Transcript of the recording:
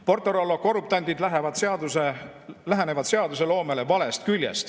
PortoRollo korruptandid lähenevad seadusloomele valest küljest.